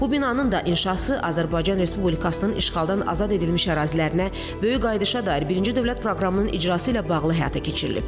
Bu binanın da inşası Azərbaycan Respublikasının işğaldan azad edilmiş ərazilərinə böyük qayıdışa dair birinci dövlət proqramının icrası ilə bağlı həyata keçirilib.